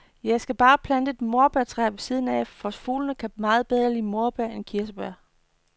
Jeg skal bare plante et morbærtræ ved siden af, for fuglene kan meget bedre lide morbær end kirsebær.